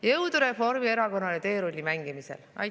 Jõudu Reformierakonnale teerulli mängimisel!